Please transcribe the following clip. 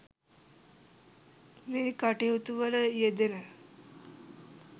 මේ කටයුතු වල යෙදෙන